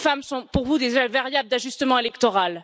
Les femmes sont pour vous des variables d'ajustement électoral.